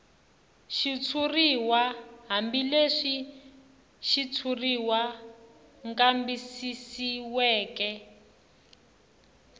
xitshuriw hambileswi xitshuriwa kambisisiweke